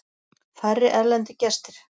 Færri erlendir gestir